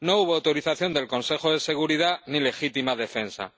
No hubo autorización del Consejo de Seguridad ni legítima defensa